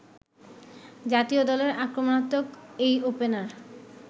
জাতীয় দলের আক্রমাত্মক এই ওপেনার